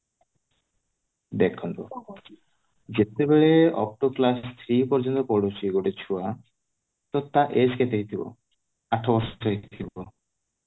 ଦେଖନ୍ତୁ ଯେତେବେଳେ up to class three ପର୍ଯ୍ୟନ୍ତ ପଢୁଛି ଗୋଟେ ଛୁଆ ତ ତା age କେତେ ହେଇଥିବ ଆଠ ବର୍ଷ ହେଇଥିବ